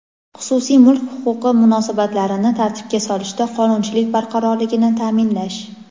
xususiy mulk huquqi munosabatlarini tartibga solishda qonunchilik barqarorligini ta’minlash;.